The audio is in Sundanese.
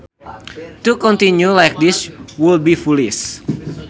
To continue like this would be foolish